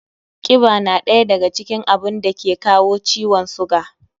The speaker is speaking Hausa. Kiba na ɗaya daga cikin abun dake kawo ciwon sugar